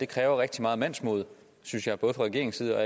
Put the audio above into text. kræver rigtig meget mandsmod synes jeg både fra regeringens side og